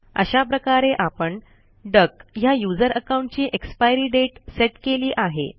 अशा प्रकारे आपण डक ह्या यूझर अकाऊंटची एक्सपायरी डेट सेट केली आहे